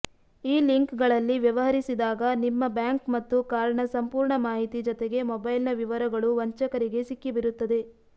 ಈ ಲಿಂಕ್ಗಳಲ್ಲಿ ವ್ಯವಹರಿಸಿದಾಗ ನಿಮ್ಮ ಬ್ಯಾಂಕ್ ಮತ್ತು ಕಾರ್ಡ್ನ ಸಂಪೂರ್ಣ ಮಾಹಿತಿ ಜತೆಗೆ ಮೊಬೈಲ್ನ ವಿವರಗಳೂ ವಂಚಕರಿಗೆ ಸಿಕ್ಕಿಬಿರುತ್ತದೆ